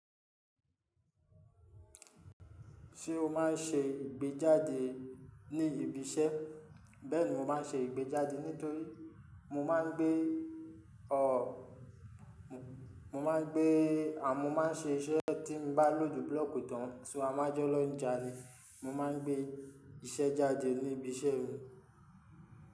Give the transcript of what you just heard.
Ṣé o máa ń ṣe ìgbéjáde ní ibi iṣẹ́? Bẹ́ẹ̀ni mo máa ń ṣe ìgbéjáde nítorí mo má ń gbé o mo má ń gbé a mo má ń ṣe iṣẹ́ tí mo bá lò ju blóòkì tán, ṣùgbọ́n a má jọ lóńjà ni. Mo ma ń gbé iṣẹ́ jáde ní ibi iṣẹ́ mi.